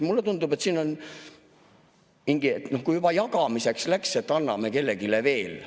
" Mulle tundub, et siin on mingi, et kui juba jagamiseks läks, siis anname kellelegi veel.